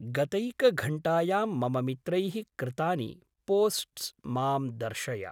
गतैकघण्टायां मम मित्रैः कृतानि पोस्ट्स् मां दर्शय।